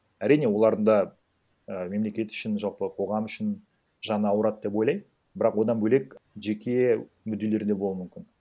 әрине олардың да і мемлекет үшін жалпы қоғам үшін жаны ауырады деп ойлаймын бірақ одан бөлек жеке мүдделері де болуы мүмкін